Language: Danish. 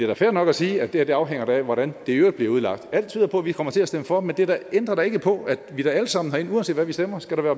da fair nok at sige at det her afhænger af hvordan det i øvrigt bliver udlagt alt tyder på at vi kommer til at stemme for men det ændrer da ikke på at vi alle sammen herinde uanset hvad vi stemmer skal være